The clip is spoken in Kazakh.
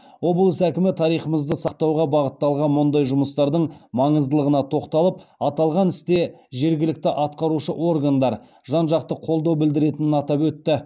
облыс әкімі тарихымызды сақтауға бағытталған мұндай жұмыстардың маңыздылығына тоқталып аталған істе жергілікті атқарушы органдар жан жақты қолдау білдіретінін атап өтті